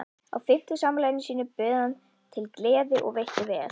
Á fimmtugsafmæli sínu bauð hann til gleði og veitti vel.